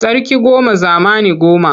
Sarki goma zamani goma.